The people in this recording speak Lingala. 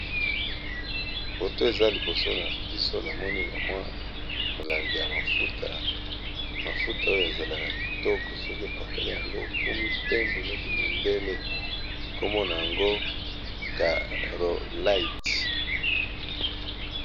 Foto eza liboso na biso, na moni bamwa molanga ya mafuta .Mafuta oyo ezalaka kitoko soki epakale yango okomi pembe neti mondele kombona yango carolite.